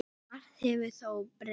Margt hefur þó breyst.